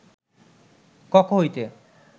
কক্ষ হইতে